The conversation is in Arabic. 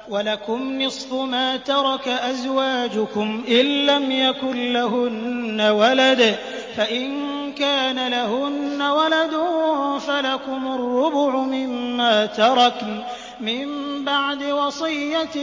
۞ وَلَكُمْ نِصْفُ مَا تَرَكَ أَزْوَاجُكُمْ إِن لَّمْ يَكُن لَّهُنَّ وَلَدٌ ۚ فَإِن كَانَ لَهُنَّ وَلَدٌ فَلَكُمُ الرُّبُعُ مِمَّا تَرَكْنَ ۚ مِن بَعْدِ وَصِيَّةٍ